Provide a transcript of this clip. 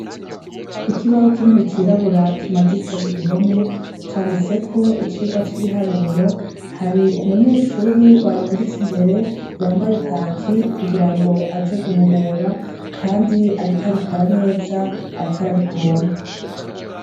Ikibaho kinini cirabura kimaditse ku gihome, canditseko icigwa c'ibiharuro. Hari umunyeshuri barungitse imbere yambaye kaki, kugira ngo aje guhubura, kandi ariko abikora neza, ariko arabitora.